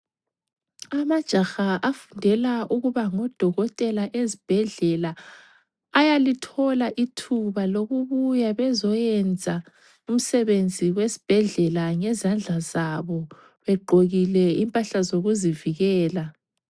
Amajaha afundela ukuba ngodokotela ezibhedlela ayalithola ithuba lokubuya bezoyenza umsebenzi wesibhedlela ngezandla zabo. Begqokile impahla zokuzivikela.